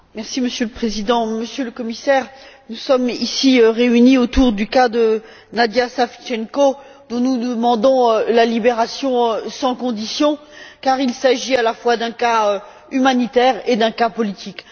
Monsieur le Président, Monsieur le Commissaire, nous sommes ici réunis autour du cas de Nadya Savchenko, dont nous demandons la libération sans condition, car il s'agit à la fois d'un cas humanitaire et d'un cas politique.